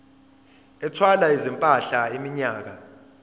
ethwala izimpahla iminyaka